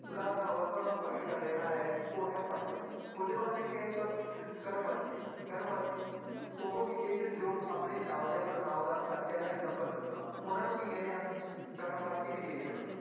ਸਧਾਰਨ ਅਵਸਥਾ ਨੂੰ ਪ੍ਰਗਟ ਕਰ ਰਿਹਾ ਹੈ ਉਹ ਹੈ ਪੰਜ, ਉਹਦੇ ਬਾਅਦ ਇੱਕ ਕਰਮ ਵਾਚੀ, ਕਰਮ ਵਾਚੀ ਉਹ ਵਿਸ਼ੇਸ਼ਣ ਜੋ ਆਪਣੇ ਨਾਂਵ ਜਾਂ ਪੜ੍ਹਨਾਂਵ ਦਾ ਦਰਜ਼ਾ ਜਾਂ number ਦੱਸਣ ਉਹਨਾਂ ਨੂੰ ਕੀ ਕਹਿੰਦੇ ਹਨ ਕਰਮ ਵਾਚੀ ਵਿਸ਼ੇਸ਼ਣ।